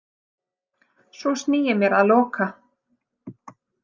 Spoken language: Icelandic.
Svo sný ég mér að Loka